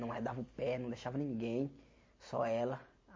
Não arredava o pé, não deixava ninguém, só ela.